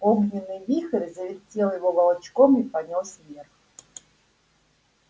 огненный вихрь завертел его волчком и понёс вверх